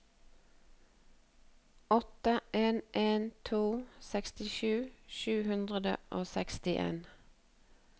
åtte en en to sekstisju sju hundre og sekstien